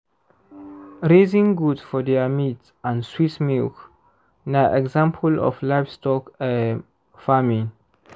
raising goat for their meat and sweet milk na example of livestock um farming